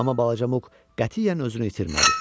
Amma balaca Muq qətiyyən özünü itirmədi.